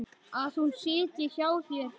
Að hún sitji hjá þér?